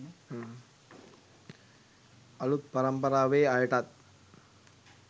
අලුත් පරම්පරාවේ අයටත්